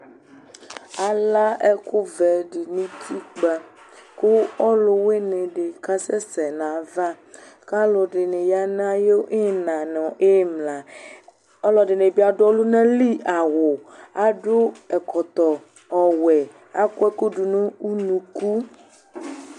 Ala ɛku vɛ du nu utikpa ku ɔluwuini di kasɛsɛ nu ayava ku aluɛdini ya nu ayu ina nu ayu imla aluɛdini bi adu ɔlunali awu adu ɛkɔtɔ ɔwɛ akɔ ɛkúdi nu unuku